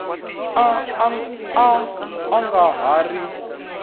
a a nga ha ri